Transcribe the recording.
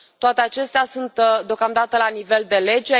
Toate acestea sunt deocamdată la nivel de lege.